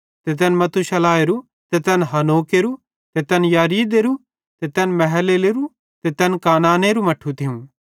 ते तैन मथूशिलहेरू ते तैन हनोकेरो ते तैन यिरिदेरू ते तैन महललेलेरू ते तैन केनानेरू मट्ठू थियूं